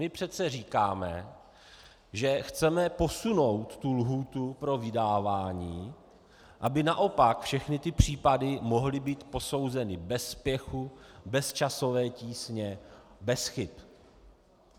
My přece říkáme, že chceme posunout tu lhůtu pro vydávání, aby naopak všechny ty případy mohly být posouzeny bez spěchu, bez časové tísně, bez chyb.